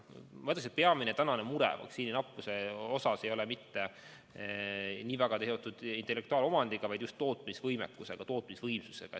Ma ütleksin, et peamine mure vaktsiini nappuse osas ei ole mitte nii väga seotud intellektuaalomandiga, vaid just tootmisvõimekuse ja tootmisvõimsusega.